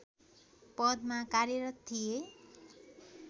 पदमा कार्यरत थिए